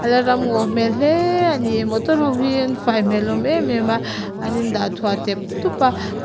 ala ram ngaw hmel hle a ni motor ho hi an fai hmel hlawm em em a an indah thuah tlep tlup a--